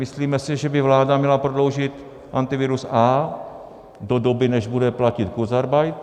Myslíme si, že by vláda měla prodloužit Antivirus A do doby, než bude platit kurzarbeit.